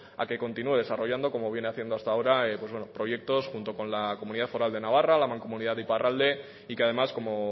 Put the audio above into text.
a que continúe desarrollando como viene haciendo hasta hora proyectos con la comunidad foral de navarra la mancomunidad de iparralde y que además como